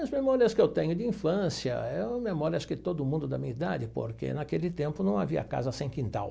As memórias que eu tenho de infância é memórias que todo mundo da minha idade, porque naquele tempo não havia casa sem quintal.